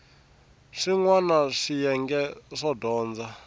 swin wana swiyenge swo dyondza